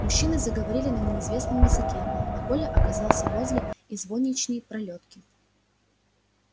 мужчины заговорили на неизвестном языке а коля оказался возле извозчичьей пролётки